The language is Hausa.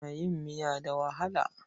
Ana yin miya da walaha.